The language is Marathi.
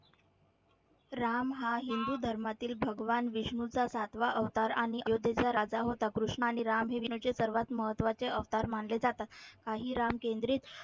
राम हा हिंदू धर्मातील भगवान विष्णूचा सातवा अवतार आणि अयोध्येचा राजा होता. कृष्ण आणि राम हे विष्णूचे सर्वात महत्वाचे अवतार मानले जातात. काही राम केंद्रित